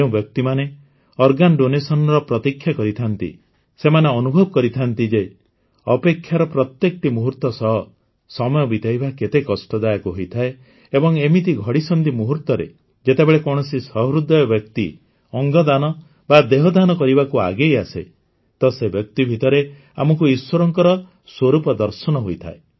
ଯେଉଁ ବ୍ୟକ୍ତିମାନେ ଅଙ୍ଗଦାନର ପ୍ରତୀକ୍ଷା କରିଥାନ୍ତି ସେମାନେ ଅନୁଭବ କରିଥାନ୍ତି ଯେ ଅପେକ୍ଷାର ପ୍ରତ୍ୟେକଟି ମୁହୂର୍ତ ସହ ସମୟ ବିତାଇବା କେତେ କଷ୍ଟଦାୟକ ହୋଇଥାଏ ଏବଂ ଏମିତି ଘଡ଼ିସନ୍ଧି ମୁହୂର୍ତରେ ଯେତେବେଳେ କୌଣସି ସହୃଦୟ ବ୍ୟକ୍ତି ଅଙ୍ଗଦାନ ବା ଦେହଦାନ କରିବାକୁ ଆଗେଇଆସେ ତ ସେ ବ୍ୟକ୍ତି ଭିତରେ ଆମକୁ ଈଶ୍ୱରଙ୍କର ସ୍ୱରୂପ ଦର୍ଶନ ହୋଇଥାଏ